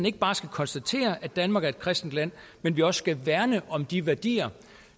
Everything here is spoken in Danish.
ikke bare skal konstatere at danmark er et kristent land men også værne om de værdier